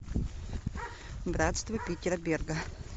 братство питера берга